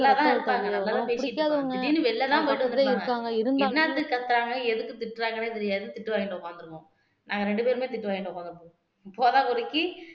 நல்லாதா இருப்பாங்க நல்லதா பேசிட்டு இருப்பாங்க திடீருனு வெளியதா போய்ட்டு வந்துருப்பாங்க என்னத்துக்கு கத்தறாங்க எதுக்கு திட்டறாங்கன்னே தெரியாது திட்டு வாங்கிட்டு உக்காந்திருக்கோம் நாங்க ரெண்டு பேருமே திட்டு வாங்கிட்டு உக்காந்திருக்கோம் போதாகுறைக்கு